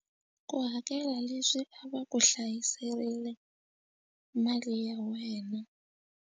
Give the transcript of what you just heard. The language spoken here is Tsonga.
Ku hakela leswi a va ku hlayiserile mali ya wena.